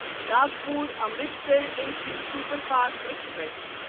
Nagpur Amritsar A C superfast express